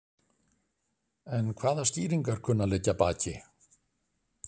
En hvaða skýringar kunna að liggja að baki?